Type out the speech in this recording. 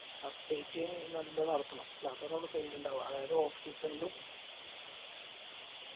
update നല്ലോണം എറക്കണം എന്നതന്നെ നമ്മളെ sale ഇണ്ടാവാ. അതായത് off season ലും